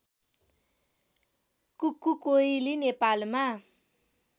कुक्कु कोइली नेपालमा